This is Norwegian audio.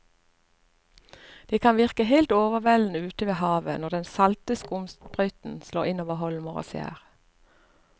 Det kan virke helt overveldende ute ved havet når den salte skumsprøyten slår innover holmer og skjær.